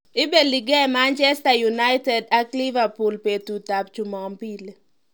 Ibelikei Manchester United ak Liverpool betutabJumapili.